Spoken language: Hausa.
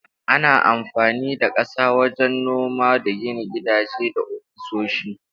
Ana amfani da ƙasa wajen noma da gina gidaje da ofisoshi.